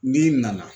N'i nana